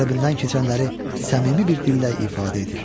Qəlbindən keçənləri səmimi bir dillə ifadə edir.